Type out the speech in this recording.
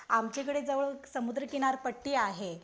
आमच्याकडे जवळ समुद्र किनारपट्टी आहे.